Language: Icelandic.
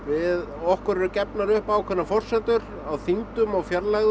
okkur er gefnar upp ákveðnar forsendur á þyngdum og fjarlægðum